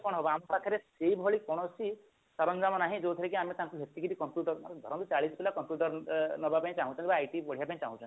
କଣ ହେବ ଆମ ପାଖରେ ସେଇ ଭଳି କୌଣସି ସରଞ୍ଜାମ ନାହିଁ ଯୋଉଥିରେ କି ଆମେ ତାଙ୍କୁ ସେତିକିଟି computer ଆରେ ଧରନ୍ତୁ ଚାଳିଶି ପିଲା computer ନେବାପାଇଁ ଚାହୁଁଛନ୍ତି ବା IT ପଢିବା ପାଇଁ ଚାହୁଁଛନ୍ତି